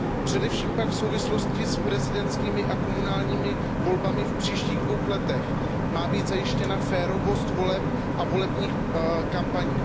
Především pak v souvislosti s prezidentskými a komunálními volbami v příštích dvou letech má být zajištěna férovost voleb a volebních kampaní.